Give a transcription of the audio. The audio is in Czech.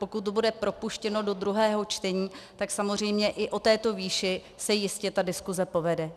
Pokud to bude propuštěno do druhého čtení, tak samozřejmě i o této výši se jistě ta diskuse povede.